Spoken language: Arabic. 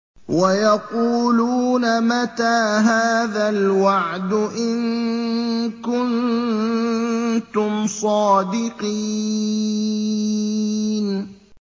وَيَقُولُونَ مَتَىٰ هَٰذَا الْوَعْدُ إِن كُنتُمْ صَادِقِينَ